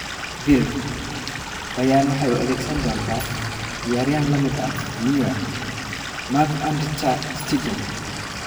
(Bild) Bayern waxay u adeegsan doontaa ciyaaryahan la mid ah Neuer, Marc-Andre ter Stegen.